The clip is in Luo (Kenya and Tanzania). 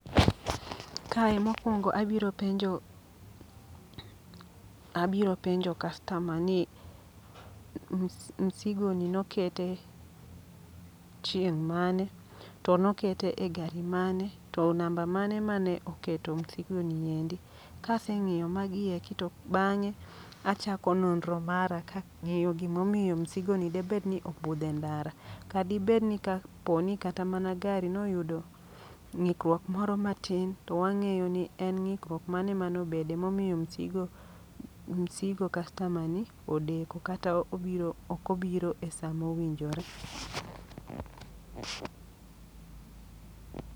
Kae mokwongo abiro penjo, abiro penjo kastama ni m msigo ni nokete chieng' mane. To nokete e gari mane, to namba mane mane oketo msigo ni endi? Kaseng'iyo magi eki to bang'e achako nonro mara kang'iyo gimomiyo msigo ni debed ni obudhe ndara. Kadibed ni ka poni kata gari noyudo ng'ikruok moro matin, to wang'eyo ni to en ng'ikruok mane manobede momiyo msigo kastama ni odeko. Kata obiro okobiro e sama owinjore.